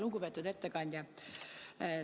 Lugupeetud ettekandja!